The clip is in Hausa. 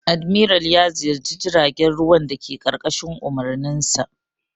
Admiral ya ziyarci jiragen ruwan dake ƙarƙashin umarninsa.